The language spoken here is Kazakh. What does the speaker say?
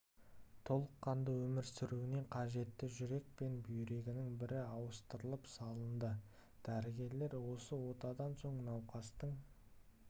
толыққанды өмір сүруіне қажетті жүрек пен бүйрегінің бірі ауыстырып салынды дәрігерлер осы отадан соң науқастың